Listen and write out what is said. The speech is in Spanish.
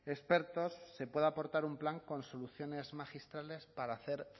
expertos se pueda aportar un plan con soluciones magistrales para hacer